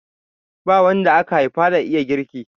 Ba wanda aka haifa da iya girki.